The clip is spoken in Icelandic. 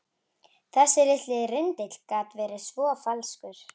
Þessi litli rindill gat verið svo falskur.